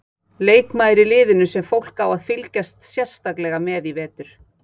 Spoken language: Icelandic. Leikmaður í liðinu sem fólk á að fylgjast sérstaklega með í vetur?